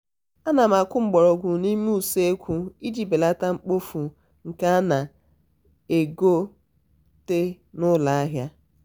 ana m akụ mgbọrọgwụ n'ime usekwu iji belata mmefu nke a na-egote n'ụlọahịa.